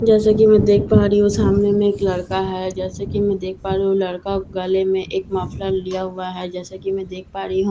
जैसा कि मैं देख पा रही हूं सामने में एक लड़का है जैसा कि मैं देख पा रही हूं लड़का ने गले में एक मफ़लर लिया हुआ है जैसा कि मैं देख पा रही हूं --